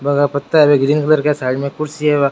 Green colour का side मै एक कुर्सी है बा।